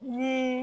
Ni